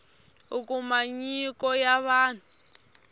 u kuma nyiko ya vanhu